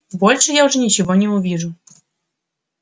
больше я уже ничего не увижу